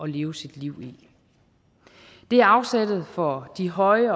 leve sit liv i det er afsættet for de høje